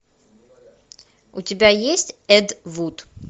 у тебя есть эд вуд